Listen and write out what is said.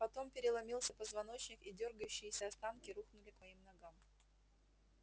потом переломился позвоночник и дёргающиеся останки рухнули к моим ногам